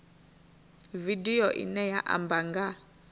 vidio ine ya amba nga